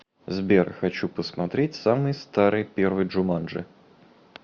сбер хочу посмотреть самый старый первый джуманджи